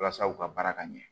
Walasa u ka baara ka ɲɛ